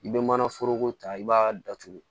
I bɛ mana foroko ta i b'a datugu